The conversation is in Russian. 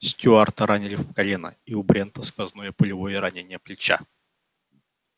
стюарта ранили в колено и у брента сквозное пулевое ранение плеча